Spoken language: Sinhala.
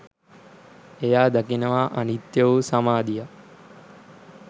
එයා දකිනවා අනිත්‍ය වූ සමාධියක්